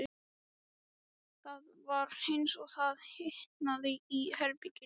Það var eins og það hitnaði í herberginu.